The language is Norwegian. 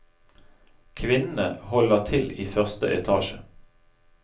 Kvinnene holder til i første etasje.